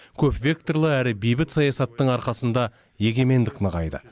көпвекторлы әрі бейбіт саясаттың арқасында егемендік нығайды